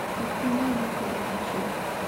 Ok inyal lokori dichiel